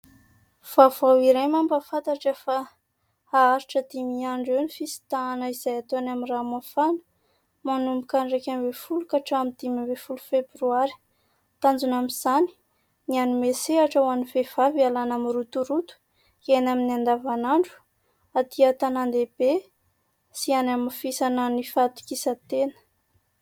Vaovao iray mampafantatra fa haharitra dimy andro eo ny fisintahana izay hatao any amin'ny Ranomafana, manomboka ny raika ambin'ny folo ka hatramin'ny dimy ambin'ny folo febroary. Tanjona amin'izany ny hanome sehatra ho an'ny vehivavy ialana amin'ny rotoroto iainany amin'ny andavanandro aty an-tanan-dehibe sy hanamafisana ny fahatokisan-tena.